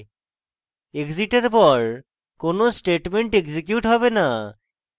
exit এর পর কোনো statement এক্সিকিউট হবে না